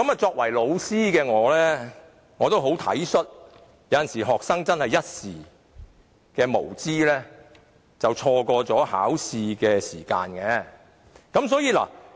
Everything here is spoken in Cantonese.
作為老師的我，也很體恤學生有時真的會一時無知，錯過考試時間。